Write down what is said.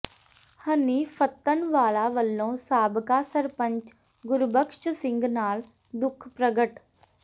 ਹਨੀ ਫ਼ੱਤਣਵਾਲਾ ਵੱਲੋਂ ਸਾਬਕਾ ਸਰਪੰਚ ਗੁਰਬਖ਼ਸ਼ ਸਿੰਘ ਨਾਲ ਦੁੱਖ ਪ੍ਰਗਟ